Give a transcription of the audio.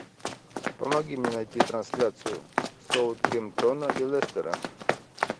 помоги мне найти трансляцию саутгемптона и лестера